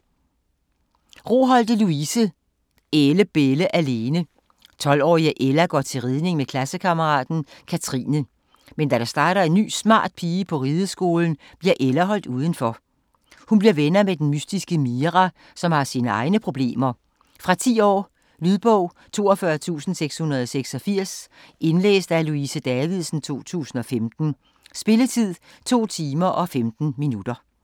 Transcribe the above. Roholte, Louise: Ælle bælle alene 12-årige Ella går til ridning med klassekammeraten Katrine. Men da der starter en ny, smart pige på rideskolen bliver Ella holdt udenfor. Hun bliver venner med den mystiske Mira, som har sine egne problemer. Fra 10 år. Lydbog 42686 Indlæst af Louise Davidsen, 2015. Spilletid: 2 timer, 15 minutter.